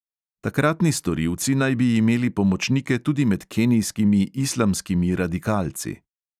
Takratni storilci naj bi imeli pomočnike tudi med kenijskimi islamskimi radikalci.